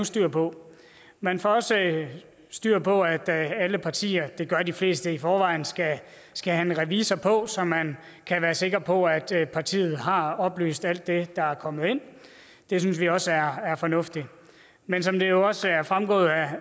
styr på man får også styr på at alle partier det gør de fleste i forvejen skal have en revisor på så man kan være sikker på at partiet har oplyst om alt det der er kommet ind det synes vi også er fornuftigt men som det jo også er fremgået